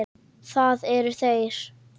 Það eru þeir.